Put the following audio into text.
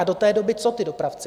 A do té doby co ti dopravci?